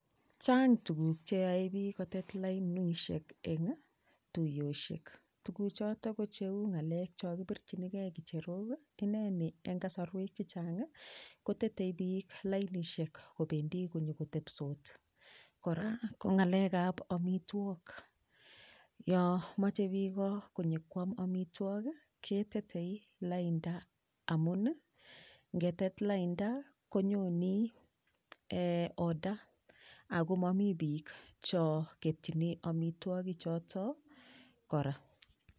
Chang tukuk chekonyei piik kotet lainishek eng tuyoshek tukuchotok ko cheu ngalek cho kibirchinigei kicherok ineni eng kosorwek chechang kotetei piik lainishek kobendi konyikotebitos kora ko ngalek ab omitwok yo mochei piko konyikwam omitwok ketetei lainda amun ngetet lainda konyoni order ako momii piik cho ketchini omitwoki choto kora